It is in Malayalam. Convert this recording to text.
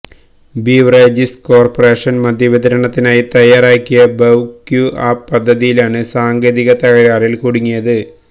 ബവ്റിജസ് കോര്പ്പറേഷന് മദ്യവിതരണത്തിനായി തയാറാക്കിയ ബവ് ക്യൂ ആപ് പദ്ധതിയാണ് സാങ്കേതിക തകരാറില് കുടുങ്ങിയത്